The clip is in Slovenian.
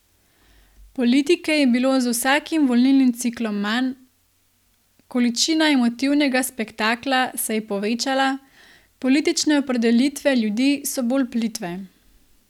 Politike je bilo z vsakim volilnim ciklom manj, količina emotivnega spektakla se je povečala, politične opredelitve ljudi so bolj plitve.